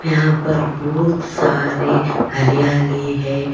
यहां पर बहुत सारे हरियाली है।